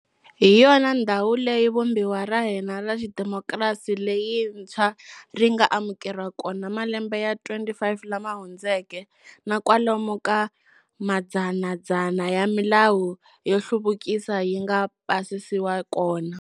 Hi yona ndhawu leyi Vumbiwa ra hina ra xidemokirasi leyintshwa ri nga amukeriwa kona malembe ya 25 lama hundzeka, na kwalomu ka madzanadzana ya milawu yo hluvukisa yi nga pasisiwa kona.